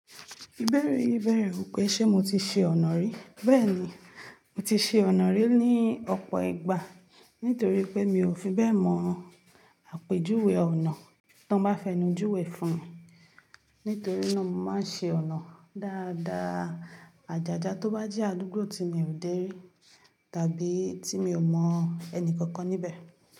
Ìbẹ̀rẹ̀ yìí bẹ̀rẹ̀ wípé ṣe mo ti ṣi ọ̀nà rí? Bẹ́ẹ̀ni, mo ti ṣi ọ̀nà rí ní ọ̀pọ̀ ìgbà. Nítorí pé mi ò fi bẹ́ẹ̀ mọ àpèjúwe ọ̀nà tọ́ bá fẹnu júwe fún mi. Nítorí náà mo máa ń ṣi ọ̀nà dáadáa. Àjàjà tó bá jẹ́ àdúgbò tí mi ò dé rí tàbí tí mi ò mọ ẹni kankan níbẹ̀